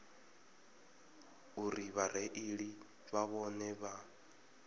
uri vhareili na vhone vha